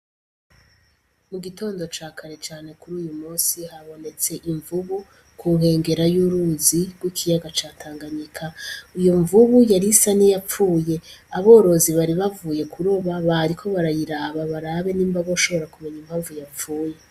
Mu gitondo ca kare cane kuri uwu musi, habonetse imvubu ku nkengera y'uruzi rw'ikiyaga ca Tanganyika. Iyo mvubu yarisa n'iyapfuye, aborozi bari bavuye kuroba bariko barayiraba, barabe nimba boshobora kumenya impamvu yapfuye.